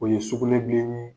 O ye sugunɛbilen yee